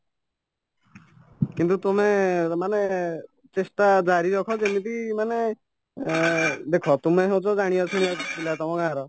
କିନ୍ତୁ ତୁମେ ମାନେ ଚେଷ୍ଟା ଜାରିରଖା ଯେମିତି ମାନେ ଏଁ ଦେଖ ତୁମେ ହଉଛ ଜାଣିବା ଶୁଣିବା ପିଲା ତମ ଗାଁର